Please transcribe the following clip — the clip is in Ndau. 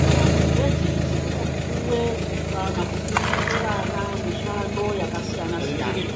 Kumayunivhesiti kunopuwe kana kufundiswe vana mishando yakasiyana siyana,